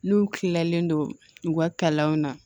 N'u kilalen don u ka kalanw na